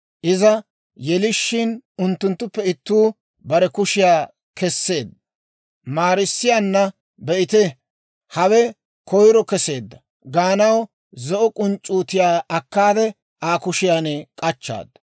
Iza yelishiin, unttunttuppe ittuu bare kushiyaa keseedda; maarissiyaanna, «Be'ite; hawe koyro kesseedda» gaanaw zo'o k'unc'c'uutiyaa akkaade Aa kushiyaan k'achchaaddu.